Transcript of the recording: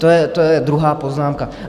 To je druhá poznámka.